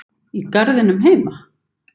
Í garðinum heima?